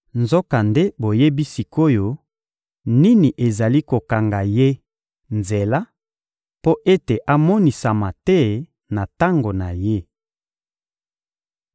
Nzokande boyebi sik’oyo nini ezali kokanga ye nzela mpo ete amonisama te na tango na ye.